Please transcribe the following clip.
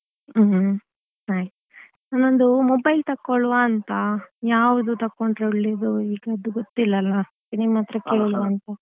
ಹ್ಮ್ ನಾನೊಂದು mobile ತಕೊಳ್ಳುವ ಅಂತ ಯಾವ್ದು ತಕೊಂಡ್ರೆ ಒಳ್ಳೇದು ಈಗದ್ದು ಗೊತ್ತಿಲ್ಲಲ್ಲ ನಿಮ್ಮತ್ರ ಕೇಳುವಂತ.